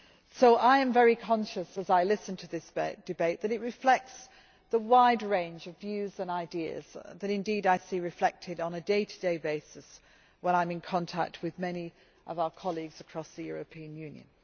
So I am very conscious, as I listen to this debate, that it reflects the wide range of views and ideas that I see reflected on a day to day basis when I am in contact with many of our colleagues across the European Union.